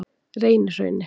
Reynihrauni